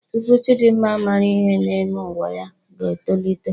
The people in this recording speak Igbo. Tupu Chidimma mara ihe na-eme nwa ya ga-etolite.